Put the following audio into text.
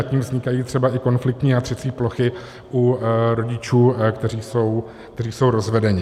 A tím vznikají třeba i konfliktní a třecí plochy u rodičů, kteří jsou rozvedeni.